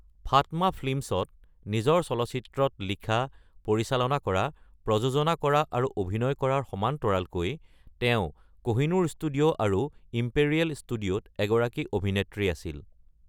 Fatma ফিল্মছত নিজৰ চলচ্চিত্ৰত লিখা, পৰিচালনা কৰা, প্ৰযোজনা কৰা আৰু অভিনয় কৰাৰ সমান্তৰালকৈ তেওঁ কহিনুৰ ষ্টুডিঅ' আৰু ইম্পেৰিয়েল ষ্টুডিঅ'ত এগৰাকী অভিনেত্ৰী আছিল।